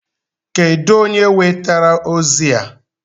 Kedụ onye wetara ozi a?